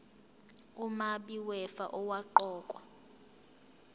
umabi wefa owaqokwa